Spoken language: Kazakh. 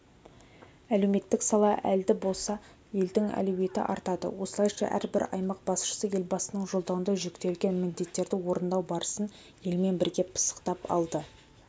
әлеуметтік сала әлді болса елдің әлеуеті артады осылайша әрбір аймақ басшысы елбасының жолдауында жүктелген міндеттерді орындау барысын елмен бірге пысықтап алды